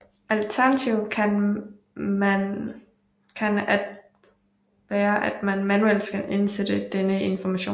Alternativet kan være at man manuelt skal indsætte denne information